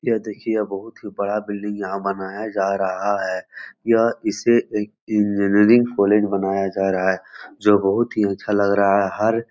यह देखिए यह बहोत ही बड़ा बिल्डिंग यहाँ बनाया जा रहा है यह इसे एक इंजीनियरिंग कॉलेज बनाया जा रहा है जो बहोत ही अच्छा लग रहा है हर --